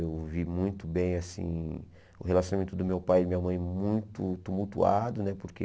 Eu vi muito bem assim o relacionamento do meu pai e da minha mãe muito tumultuado né porque.